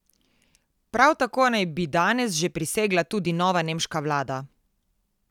Prav tako naj bi danes že prisegla tudi nova nemška vlada.